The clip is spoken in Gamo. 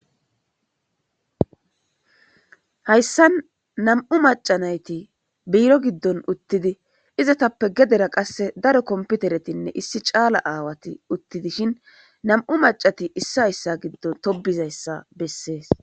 Hayissan nam''u macanayiti biro giddonni uttidi izetappe gedera qase daro komippiteretti nne issi caala awayi utti dishshinni nam''u macati issa issa giddon tobizayissa besses.